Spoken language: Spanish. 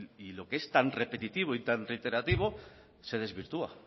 y lo que es tan repetitivo y tan reiterativo se desvirtúa